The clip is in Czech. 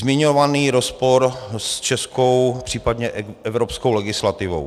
Zmiňovaný rozpor s českou, případně evropskou legislativou.